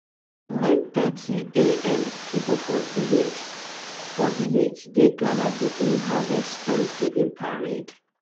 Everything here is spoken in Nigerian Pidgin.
9:30am people for village for village dey gada begin harvest thanksgiving parade.